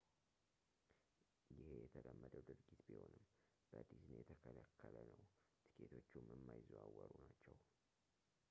ይሄ የተለመደ ድርጊት ቢሆንም በዲዝኒ የተከለከለ ነው ትኬቶቹም የማይዘዋወሩ ናቸው